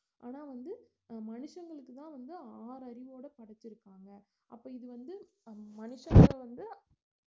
ஆனா வந்து மனுஷங்களுக்குத்தான் வந்து ஆறு அறிவோட படச்சுருக்காங்க அப்ப இது வந்து மனுஷங்கள வந்து